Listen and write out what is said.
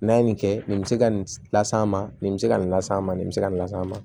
N'a ye nin kɛ nin bɛ se ka nin las'an ma nin bɛ se ka nin las'an ma nin bɛ se ka nin las'an ma